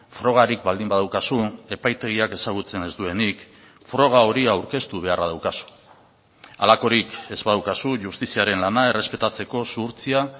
frogarik baldin badaukazu epaitegiak ezagutzen ez duenik froga hori aurkeztu beharra daukazu halakorik ez badaukazu justiziaren lana errespetatzeko zuhurtzia